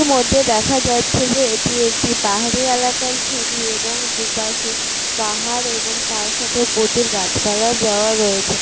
এটার মধ্যে দেখা যাচ্ছে যে এটা একটি পাহাড়ি এলাকা ছবি এবং দু পশে পাহাড় এবং তার সাথে প্রচুর গাছপালা দেওয়া রয়েছে ।